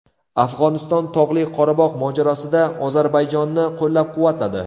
Afg‘oniston Tog‘li Qorabog‘ mojarosida Ozarbayjonni qo‘llab-quvvatladi.